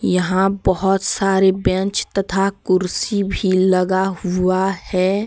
यहां बहुत सारे बेंच तथा कुर्सी भी लगा हुआ है।